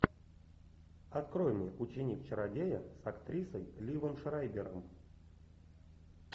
открой мне ученик чародея с актрисой ливом шрайбером